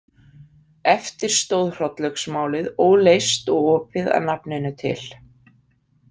Eftir stóð Hrollaugsmálið óleyst og opið að nafninu til.